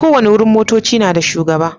Ko wanni wurin motocci na da shugaba.